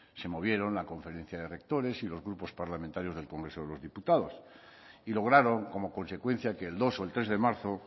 se movieron la conferencia de rectores y los grupos parlamentarios del congreso de los diputados y lograron como consecuencia que el dos o el tres de marzo